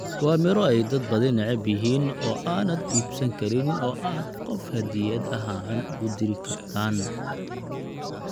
Waa miro ay dad badani neceb yihiin oo aanad iibsan karin oo aad qof hadiyad ahaan ugu diri kartaan, b